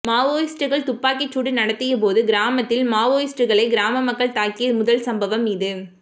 மாவோயிஸ்டுகள் துப்பாக்கிச் சூடு நடத்தியபோது கிராமத்தில் மாவோயிஸ்டுகளை கிராம மக்கள் தாக்கிய முதல் சம்பவம் இது